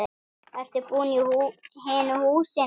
Ertu búinn í hinu húsinu?